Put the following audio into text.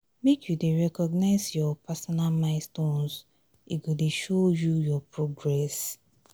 make you dey recognize your personal milestones e go dey show you your progress.